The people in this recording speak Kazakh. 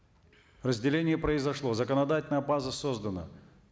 разделение произошло законодательная база создана